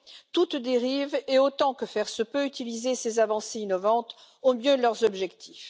toute dérive et, autant que faire se peut, utiliser ces avancées innovantes au mieux de leurs objectifs.